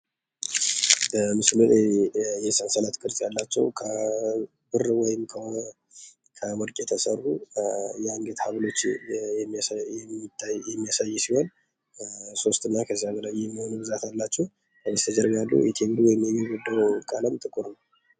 በምስሉ ላይ የሰንሰለት ቅርጽ ያላቸው ከብር ወይም ከወርቅ የተሠሩ የአንገት ሐብሎች የሚያሳይ ሲሆን ፤ሶስት እና ከዚያ በላይ የሚሆኑ ብዛት ያላቸው። በስተጀርባ ወይም ግርግዳው ቀለም ጥቁር ነው።